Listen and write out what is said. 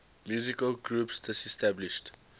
musical groups disestablished